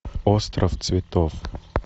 остров цветов